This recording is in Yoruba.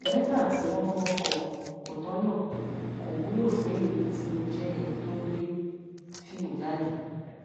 lẹtà tí wọn kò kọ kò tọnà kò wúlò fún èmi tí mo jẹ ẹni tó ń gbé fíìmù jáde